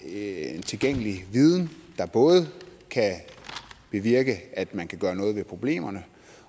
en tilgængelig viden der både kan bevirke at man kan gøre noget ved problemerne